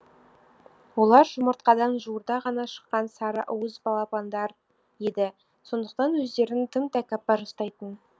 олар жұмыртқадан жуырда ғана шыққан сары уыз балапандар еді сондықтан өздерін тым тәкаппар ұстайтын